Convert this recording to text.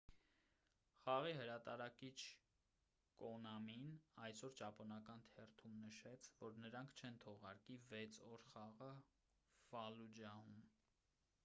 խաղի հրատարակիչ կոնամին այսօր ճապոնական թերթում նշեց որ նրանք չեն թողարկի վեց օր խաղը ֆալլուջահում